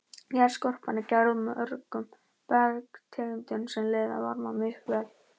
Jarðskorpan er gerð úr mörgum bergtegundum sem leiða varma misvel.